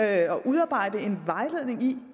at udarbejde en vejledning i